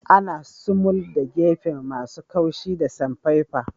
Ana sumul da gefuna masun kaushi da samfefa.